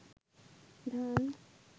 ধান